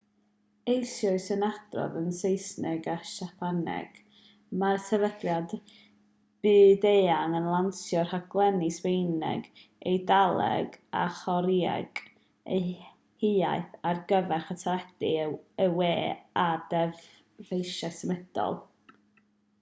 eisoes yn adrodd yn saesneg a siapaneg mae'r sefydliad byd-eang yn lansio rhaglenni sbaeneg eidaleg a chorëeg eu hiaith ar gyfer y teledu y we a dyfeisiau symudol